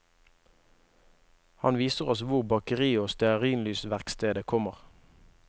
Han viser oss hvor bakeriet og stearinlysverkstedet kommer.